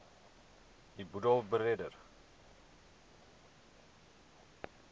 u boedel beredder